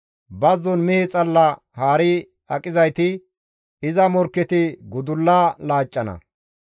Bazzon mehe xalla haari aqizayti, iza morkketi gudulla laaccana.